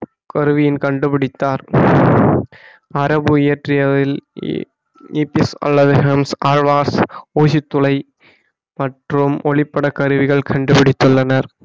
கருவியின் கண்டுபிடித்தார் அரபு அல்லது ஹெம்ஸ் ஆழ்வாஸ் ஊசி துளை மற்றும் ஒளிப்பட கருவிகள் கண்டுபிடித்துள்ளனர்